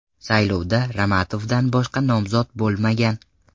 Saylovda Ramatovdan boshqa nomzod bo‘lmagan.